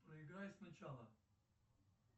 проиграй сначала